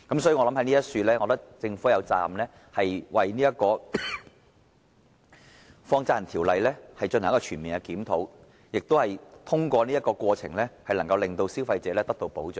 所以，我認為政府有責任就《放債人條例》進行全面檢討，以及通過這過程，令消費者受到保障。